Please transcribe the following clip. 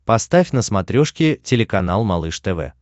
поставь на смотрешке телеканал малыш тв